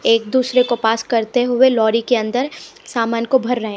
एक दूसरे को पास करते हुए लौरी के अंदर सामान को भर रहे हैं।